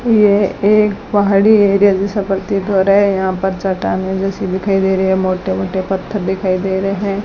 यह एक पहाड़ी एरिया जैसा प्रतीत हो रहा है यहां पर चट्टानें जैसी दिखाई दे रही है मोटे मोटे पत्थर दिखाई दे रहे हैं।